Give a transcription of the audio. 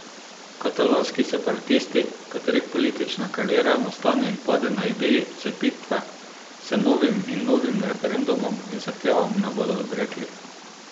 Katalonski separatisti, katerih politična kariera nastane in pade na ideji odcepitve, se novim in novim referendumom in zahtevam ne bodo odrekli.